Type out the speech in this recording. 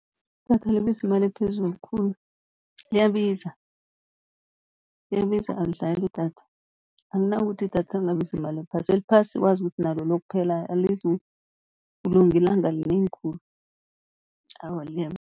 Idatha libiza imali ephezulu khulu liyabiza, liyabiza alidlali idatha akunakuthi idatha lingabiza imali ephasi. Eliphasi wazi ukuthi nalo liyokuphela, alizukulunga ilanga linengi khulu awa